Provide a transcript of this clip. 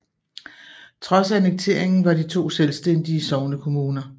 Trods annekteringen var de to selvstændige sognekommuner